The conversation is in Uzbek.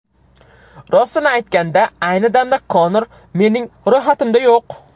Rostini aytganda, ayni damda Konor mening ro‘yxatimda yo‘q.